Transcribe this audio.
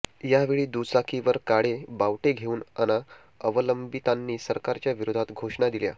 यावेळी दुचाकीवर काळे बावटे घेऊन खाण अवलंबितांनी सरकारच्या विरोधात घोषणा दिल्या